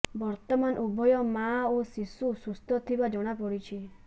ବର୍ତ୍ତମାନ ଉଭୟ ମା ଓ ଶିଶୁ ସୁସ୍ଥ ଥିବା ଜଣାପଡିଛି